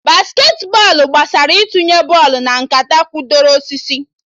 Basketị bọọlụ gbasara itunye bọlụ na nkata kwụdoro osisi